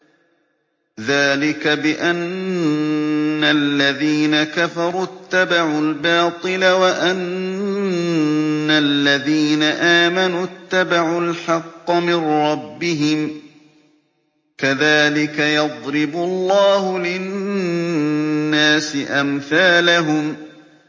ذَٰلِكَ بِأَنَّ الَّذِينَ كَفَرُوا اتَّبَعُوا الْبَاطِلَ وَأَنَّ الَّذِينَ آمَنُوا اتَّبَعُوا الْحَقَّ مِن رَّبِّهِمْ ۚ كَذَٰلِكَ يَضْرِبُ اللَّهُ لِلنَّاسِ أَمْثَالَهُمْ